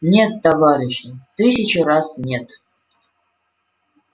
нет товарищи тысячу раз нет